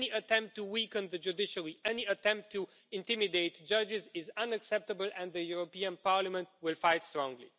Any attempt to weaken the judiciary, any attempt to intimidate judges, is unacceptable, and the European Parliament will fight strongly.